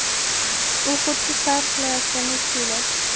U xuddi sayr qilayotgandek tuyuladi.